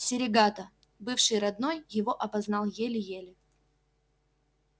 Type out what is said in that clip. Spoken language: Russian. серегато бывший родной его опознал еле-еле